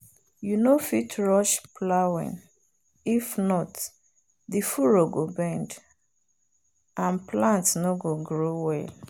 you no fit rush plowing if not the furrow go bend and plant no go grow well.